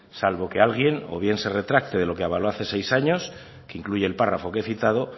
salvo que alguien igual de retracte de lo que avaló hace seis años que incluye el párrafo que he citado